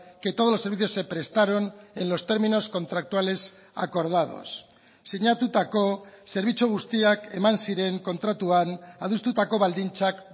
que todos los servicios se prestaron en los términos contractuales acordados sinatutako zerbitzu guztiak eman ziren kontratuan adostutako baldintzak